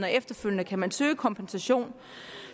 og efterfølgende kan man søge kompensation